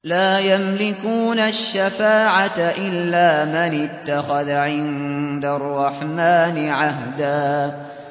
لَّا يَمْلِكُونَ الشَّفَاعَةَ إِلَّا مَنِ اتَّخَذَ عِندَ الرَّحْمَٰنِ عَهْدًا